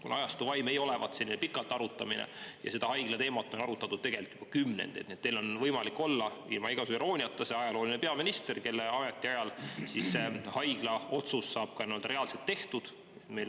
Kuna ajastu vaim ei olevat selline pikalt arutamine ja seda haigla teemat on arutatud tegelikult juba kümnendeid, siis teil on võimalik olla – ilma igasuguse irooniata – ajalooline peaminister, kelle ametiajal see otsus saab ka reaalselt tehtud.